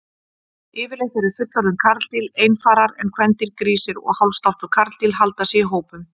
Yfirleitt eru fullorðin karldýr einfarar en kvendýr, grísir og hálfstálpuð karldýr, halda sig í hópum.